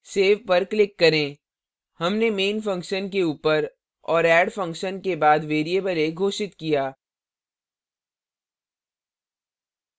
save पर click करें हमने main function के ऊपर और add function के बाद variable a घोषित किया